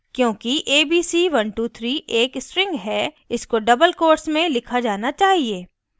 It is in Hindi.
क्योंकि abc123 एक string है इसको doublequotes में लिखा जाना चाहिए